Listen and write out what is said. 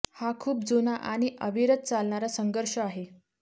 हा खूप जुना आणि अविरत चालणारा संघर्ष आहे